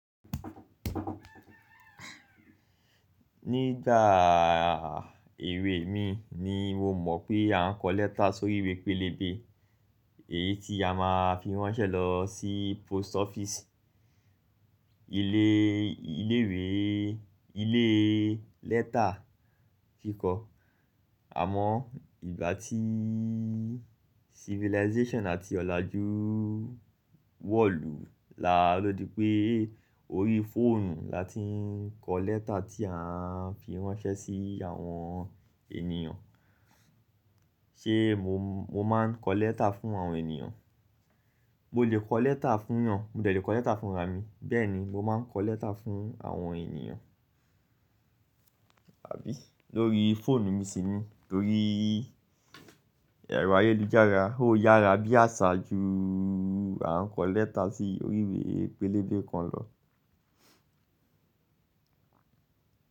Nígbà àà ewé mi ni mo mọ̀ pé a ń kọ lẹ́tà sórí ìwé pélébé, èyí tí a máa fi ránṣẹ́ lọ sí post office ilé, ilé ìwé, ilé lẹ́tà kíkọ. Àmọ́ ìgbà tí civilization àti ọ̀làjú wọ̀lù la ló di pé orí fóònù la ti ń kọ lẹ́tà tí a ń fi ránṣẹ́ sí àwọn ènìyàn. Ṣé mo, mo má ń kọ lẹ́tà fún àwọn ènìyàn? Mo lè kọ letter fún èyàn, mo dẹ̀ lè kọ letter fún ra mi. Bẹ́ẹ̀ni mo máa ńkọ letter fún àwọn ènìyàn àbí lórí fóònù mi sì ni, lórí ẹ̀rọ ayélujára ó yára bí àṣà ju à ń kọ lẹ́tà sí orí ìwé pélébé kan lọ.